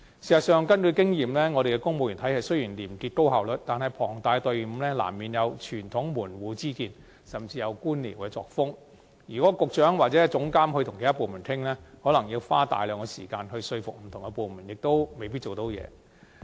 事實上，根據經驗，雖然本港公務員體系廉潔且高效率，但龐大的隊伍難免有傳統門戶之見，甚至有官僚作風，如果局長或政府資訊科技總監與其他部門商討，恐怕要耗費大量時間說服不同部門合作，最終更可能徒勞無功。